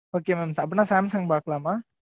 Okay mam அப்படின்னா, Samsung பார்க்கலாமா